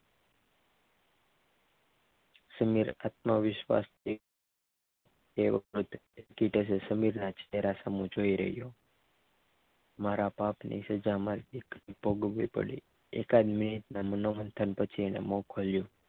સમીર આત્મવિશ્વાસથી તે વખતે સમીર સામે જોઈ રહ્યો મારા પાપ ની સજા મારી દીકરીને ભોગવવી પડે એકદ બે મિનિટના મનોમંથન પછી તેને મોં ખોલ્યું